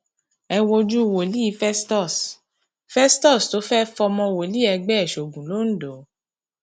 ẹ wojú wòlíì festus festus tó fẹẹ fọmọ wòlíì ẹgbẹ ẹ sóògùn londo